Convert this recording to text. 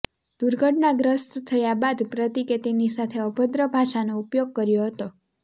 દુર્ઘટનાગ્રસ્ત થયા બાદ પ્રતિકે તેની સાથે અભદ્ર ભાષાનો ઉપયોગ કર્યો હતો